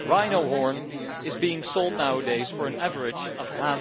Rhino horn is being sold nowadays for an average of EUR